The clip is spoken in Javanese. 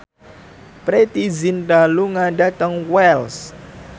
Preity Zinta lunga dhateng Wells